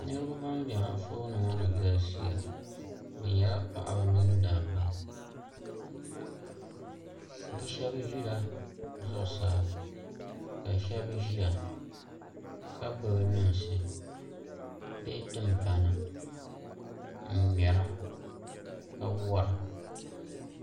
Niraba ban bɛ Anfooni ŋo ni galisiya bi nyɛla paɣaba mini dabba bi shab ʒila zuɣusaa ka shab ʒiya ka gbubi lunsi bee timpana n ŋmɛra ka wora